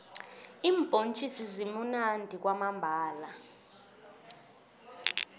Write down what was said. iimbhontjisi zimunandi kwamambhala